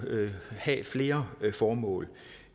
have flere formål